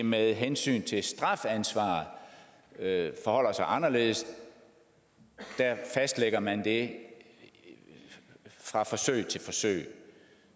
med hensyn til strafansvar forholder sig anderledes der fastlægger man det fra forsøg til forsøg